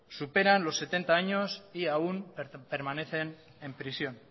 superan los setenta años y aún permanecen en prisión